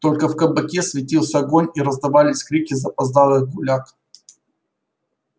только в кабаке светился огонь и раздавались крики запоздалых гуляк